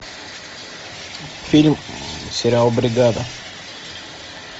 фильм сериал бригада